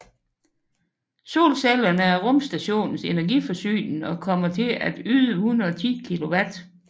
Solcellerne er rumstationens energiforsyning og kommer til at yde 110 kilowatt